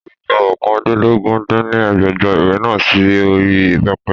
Sọlá máa to gbogbo oókàndínlógún dín ní ẹgbẹ́jọ ìwé náà sì orí pẹpẹ